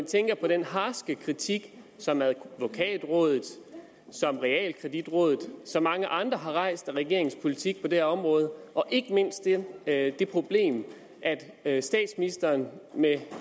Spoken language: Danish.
tænker på den harske kritik som advokatrådet som realkreditrådet som mange andre har rejst af regeringens politik på det her område ikke mindst af det problem at statsministeren med